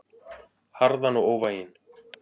Harðan og óvæginn.